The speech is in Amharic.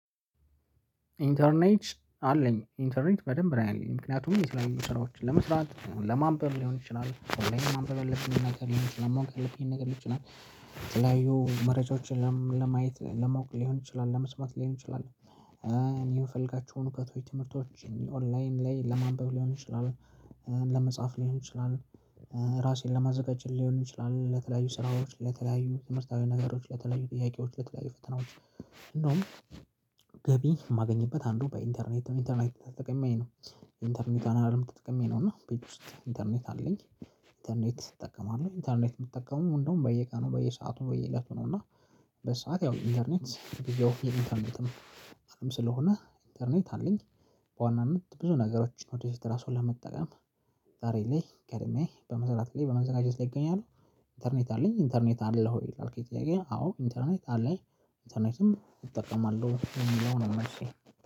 ኢንተርኔት አለኝ ኢንተምክንያቱም። ንብ ነው ያለኝ ምክንያቱም የስራዎችን ለመስራት ለማንበብ ሊሆን ይችላል። ሁሌምኔ ማንበብ የለብኝም ነገር ሊሆን ይችላል። ማወቅ ያለብኝም ነገር ልጅ የተለያዩ መረጃዎችን ለማየት ለማወቅ ሊሆን ይችላል ለመስማት ሊሆን ይችላል እኔ የምፈልጋችሁ እውቀት ወቀት ወይ ትምህርቶች እኔ ኦንላይን ላይ ለማንበብ ሊሆን ይችላል ለመጻፍ ሊሆን ይችላል፤ ራሴን ለማዘጋጀት ሊሆን ይችላል፤ ለተለያዩ ስራዎች ለተለያዩ ትምህርታዊ ነገሮች ለተለያዩ ጥያቄዎች ለተለያዩ ፈተናዎች እንደውም ገቢ የማገኝበት አንዱ በኢንተርኔት ኢንተርኔት ተጠቅሜ ነው ኢንተርኔት አለም ተጠቅሜ ነው እና ቤት ውስጥ ኢንተርኔት አለኝ። ኢንተርኔት እጠቀማለሁ ኢንተርኔት የምትጠቀሙ እንደውም በየቃኑ በየሰአቱ በየእለቱ ነው እና በሰአት ያው ኢንተርኔት ያው ጊዜው የሚፈልግም ስለሆነ ኢንተርኔት አለኝ በዋናነት ብዙ ነገሮችን ወደ ፊት ራሱ ለመጠቀም ዛሬ ላይ ቀድሜ በመስራት ላይ በመዘጋጀት ላይ እገኛለሁ። ኢንተርኔት አለ፤ ኢንተርኔት አለህ ወይ? ላልከኝ ጥያቄ አዎ ኢንተርኔት አለኝ ኢንተርኔትም እጠቀማለሁ የሚለውን ነው መልሴ